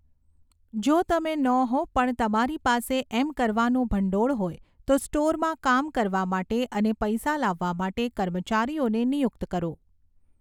જો તમે ન હો પણ તમારી પાસે એમ કરવાનું ભંડોળ હોય તો સ્ટોરમાં કામ કરવા માટે અને પૈસા લાવવા માટે કર્મચારીઓને નિયુક્ત કરો.